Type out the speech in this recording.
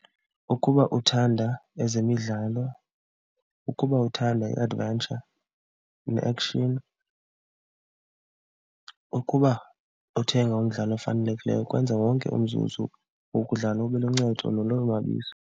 Ukuba uthanda ezemidlalo, ukuba uthanda i-adventure ne-action, ukuba uthenga umdlalo ofanelekileyo kwenza wonke umzuzu wokudlala ube luncedo nolonwabiso.